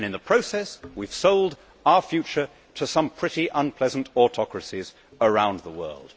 In the process, we have sold our future to some pretty unpleasant autocracies around the world.